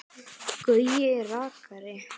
Gaui rakari.